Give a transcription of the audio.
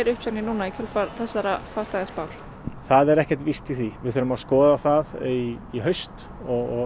uppsagnir núna í kjölfar þessarar farþegaspár það er ekkert víst í því við þurfum að skoða það í haust og